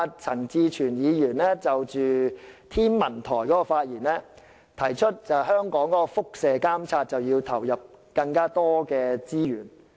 陳志全議員昨天在有關香港天文台的發言中指出，香港必須就輻射監察投入更多資源。